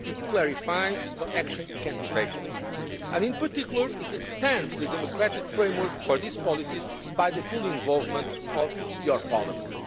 It clarifies what action can be taken and, in particular, it extends the democratic framework for these policies by the full involvement of your Parliament.